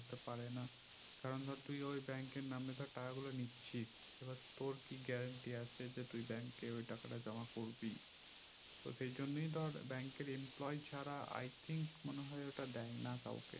করতে পারে না কারণ ধর তুই ওই bank এর নাম এ ধর টাকা গুলো নিচ্ছিস এবার তোর কি গ্যারেন্টি আছে যে তুই bank ওই টাকাটা জমা করবি তো সেই জন্য ধর bank এর employee ছাড়া I think মনে হয় ওটা দেয়না কাওকে